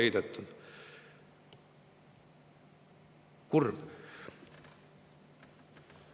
Kurb!